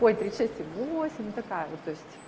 ой тридцать шесть и восемь ну такая вот то есть